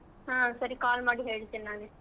ಹ್ಮ್ ಸರಿ call ಮಾಡಿ ಹೇಳ್ತೇನ್ ನಾನೇ.